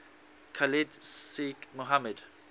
khalid sheikh mohammed